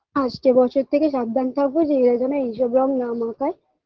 আসছে বছর থেকে সাবধান থাকবো যে এরা যেন এই সব রং না মাখায়